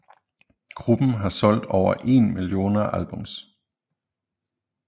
Gruppen har solgt over én millioner albums